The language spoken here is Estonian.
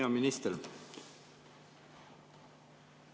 Hea minister!